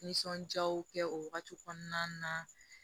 Nisɔndiyaw kɛ o wagati kɔnɔna na